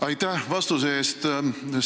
Aitäh vastuse eest!